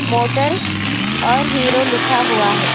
Motor اور Hero لکھا ہوا ہے.